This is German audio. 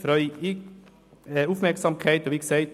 Wie bereits gesagt: